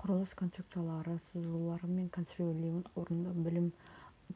құрылыс конструкциялары сызулары мен конструирлеуін орындау бөлім